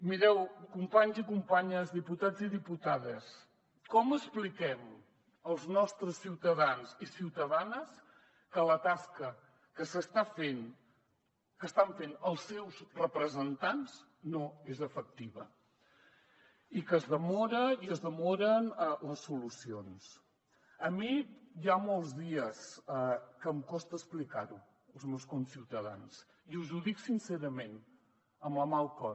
mireu companys i companyes diputats i diputades com expliquem als nostres ciutadans i ciutadanes que la tasca que s’està fent que estan fent els seus representants no és efectiva i que es demora i es demoren les solucions a mi hi ha molts dies que em costa explicar ho als meus conciutadans i us ho dic sincerament amb la mà al cor